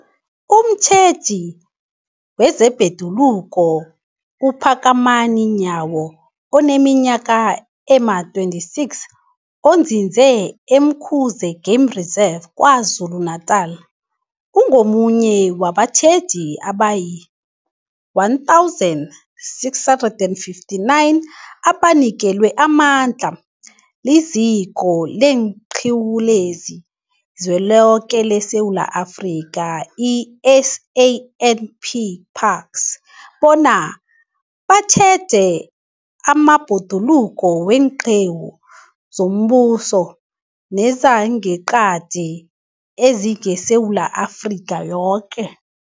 Umtjheji wezeBhoduluko uPhakamani Nyawo oneminyaka ema-26, onzinze e-Umkhuze Game Reserve KwaZulu-Natala, ungomunye wabatjheji abayi-1 659 abanikelwe amandla liZiko leenQiwu zeliZweloke leSewula Afrika, i-SANParks, bona batjheje amabhoduluko weenqiwu zombuso nezangeqadi ezingeSewula Afrika yoke.